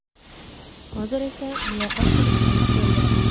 Hozir esa muloqot qilish payti keldi.